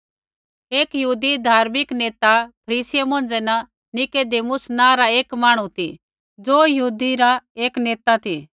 एक यहूदी धार्मिक नेता फरीसियै मौंझ़ै न निकुदेमुस नाँ रा एक मांहणु ती ज़ो एक नेता नेतै मौंझ़ै न एक नेता ती